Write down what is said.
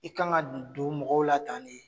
I ka kan ka dun don mɔgɔw la tan ne